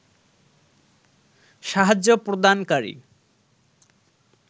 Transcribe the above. সাহায্য প্রদানকারী